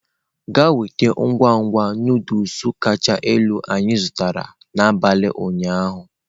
Gaa nweta ngwugwu Nụdụls kacha elu anyị zụtara n'abalị ụnyaahụ!.